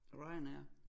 Ryanair